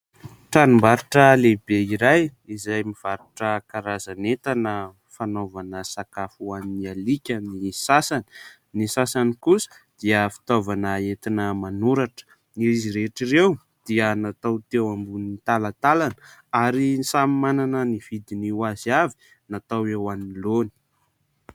Tranom-barotra lehibe iray izay mivarotra karazan'entana fanaovana sakafo ho an'ny alika ny sasany. Ny sasany kosa dia fitaovana entina manoratra. Izy rehetra ireo dia natao teo ambony talantalana ary samy manana ny vidiny ho azy avy natao eo anoloany.